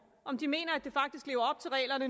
om de mener at det faktisk